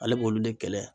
Ale b'olu de kɛlɛ